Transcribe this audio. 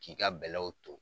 K'i ka bɛlɛw ton.